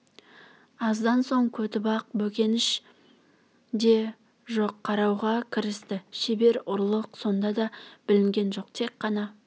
аздан сөн көтібақ бөкенші де жоқ қарауға кірісті шебер ұрлық сонда да білінген жоқ тек қана